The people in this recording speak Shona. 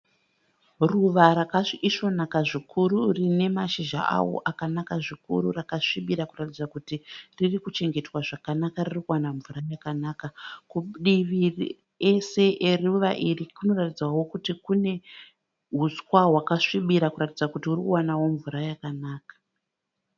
Ruva rakaisvonaka zvikuru rinemashizha awo akanaka zvikuru rakasvibira kuratidza kuti ririkuchengetwa zvakanaka ririkuwana mvura yakanaka. Kudiviri ese eruva iri kunoratidzawo kunehuswa hwakasvibira kuratidza kuti hurikuwanawo mvura yakanaka.